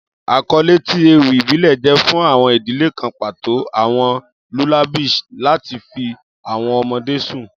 Akọle ti ewi ibile jẹ fun awọn idi kan pato, awọn lullabies lati fi awọn ọmọde sun